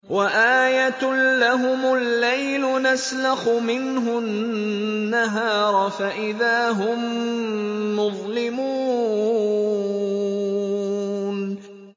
وَآيَةٌ لَّهُمُ اللَّيْلُ نَسْلَخُ مِنْهُ النَّهَارَ فَإِذَا هُم مُّظْلِمُونَ